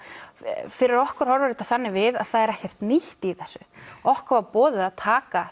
fyrir okkur horfir þetta þannig við að það er ekkert nýtt í þessu okkur var boðið að taka